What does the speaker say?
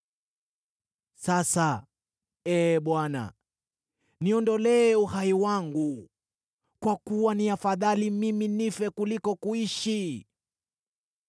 Sasa, Ee Bwana , niondolee uhai wangu, kwa kuwa ni afadhali mimi nife kuliko kuishi.”